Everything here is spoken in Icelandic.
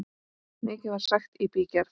Mikið var sagt í bígerð.